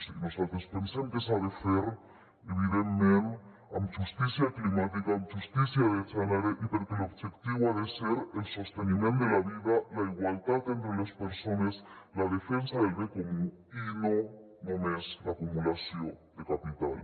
i nosaltres pensem que s’ha de fer evidentment amb justícia climàtica amb justícia de gènere i perquè l’objectiu ha de ser el sosteniment de la vida la igualtat entre les persones la defensa del bé comú i no només l’acumulació de capital